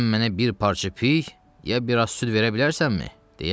Sən mənə bir parça piy, ya bir az süd verə bilərsənmi?